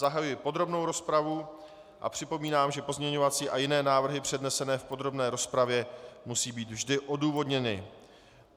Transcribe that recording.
Zahajuji podrobnou rozpravu a připomínám, že pozměňovací a jiné návrhy přednesené v podrobné rozpravě musí být vždy odůvodněny.